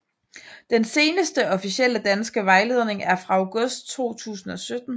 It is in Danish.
Den seneste officielle danske vejledning er fra august 2017